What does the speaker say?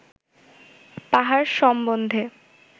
পাহাড় সম্বন্ধে